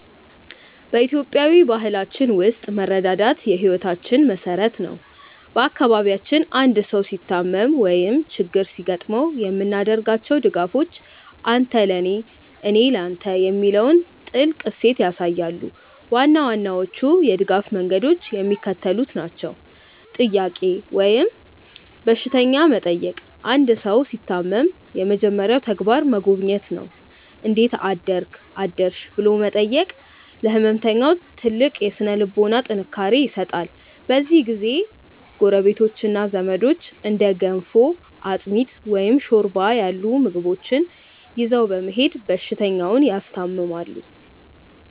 በኢትዮጵያዊ ባህላችን ውስጥ መረዳዳት የሕይወታችን መሠረት ነው። በአካባቢያችን አንድ ሰው ሲታመም ወይም ችግር ሲገጥመው የምናደርጋቸው ድጋፎች "አንተ ለኔ፣ እኔ ለተ" የሚለውን ጥልቅ እሴት ያሳያሉ። ዋና ዋናዎቹ የድጋፍ መንገዶች የሚከተሉት ናቸው፦ "ጥያቄ" ወይም በሽተኛ መጠየቅ አንድ ሰው ሲታመም የመጀመሪያው ተግባር መጎብኘት ነው። "እንዴት አደርክ/ሽ?" ብሎ መጠየቅ ለሕመምተኛው ትልቅ የሥነ-ልቦና ጥንካሬ ይሰጣል። በዚህ ጊዜ ጎረቤቶችና ዘመዶች እንደ ገንፎ፣ አጥሚት፣ ወይም ሾርባ ያሉ ምግቦችን ይዘው በመሄድ በሽተኛውን ያስታምማሉ።